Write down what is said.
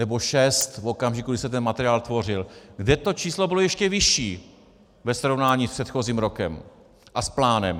Nebo šest v okamžiku, kdy se ten materiál tvořil, kde to číslo bylo ještě vyšší ve srovnání s předchozím rokem a s plánem.